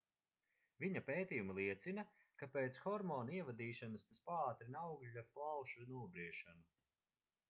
viņa pētījumi liecina ka pēc hormona ievadīšanas tas paātrina augļa plaušu nobriešanu